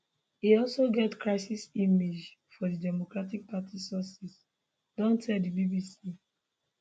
e also get crisis image for di democratic party sources don tell di bbc